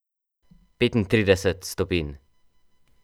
Petintrideset stopinj.